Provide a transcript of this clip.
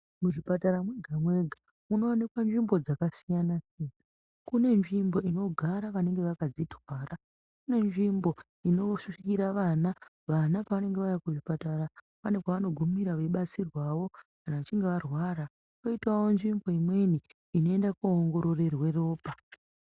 Muzvipatara mwega-mwega munovanika nzvimbo dzakasiyana, kune nzvimbo inogara vanenge vakadzitwara. Kune nzvimbo inosvikira vana vana pavanenge vauya kuzvipatara pane pavanogumira veibatsirwavo kana vachinge varwara. Koitavo nzvimbo imweni inoenda koongororerwe ropa.